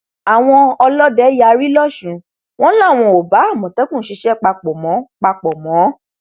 àwọn ọlọdẹ yarí lọsùn wọn làwọn ò bá àmọtẹkùn ṣiṣẹ papọ mọ papọ mọ